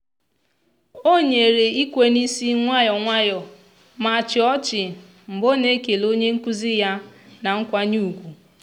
o nyere ikwe n'isi nwayọ nwayọ ma chịa ọchị mgbe ọ na-ekele onye nkụzi ya na nkwanye ugwu.